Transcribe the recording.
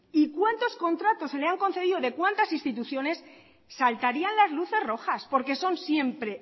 y cuántos contratos se le han concedido de cuántas instituciones saltarían las luces rojas porque son siempre